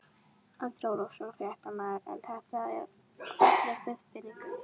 Andri Ólafsson, fréttamaður: En þetta er falleg viðbygging?